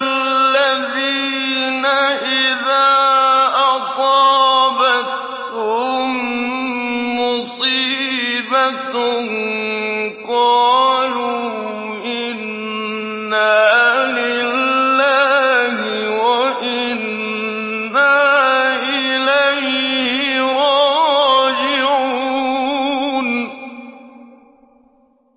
الَّذِينَ إِذَا أَصَابَتْهُم مُّصِيبَةٌ قَالُوا إِنَّا لِلَّهِ وَإِنَّا إِلَيْهِ رَاجِعُونَ